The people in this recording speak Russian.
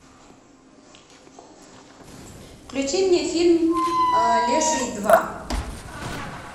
включи мне фильм леший два